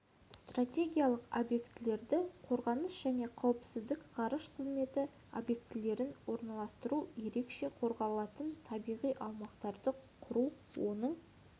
стратегиялық объектілерді қорғаныс және қауіпсіздік ғарыш қызметі объектілерін орналастыру ерекше қорғалатын табиғи аумақтарды құру оның